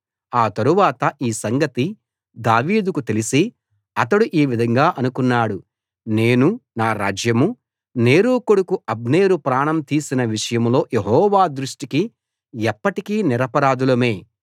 ఆ తరువాత ఈ సంగతి దావీదుకు తెలిసి అతడు ఈ విధంగా అనుకున్నాడు నేనూ నా రాజ్యమూ నేరు కొడుకు అబ్నేరు ప్రాణం తీసిన విషయంలో యెహోవా దృష్టికి ఎప్పటికీ నిరపరాధులమే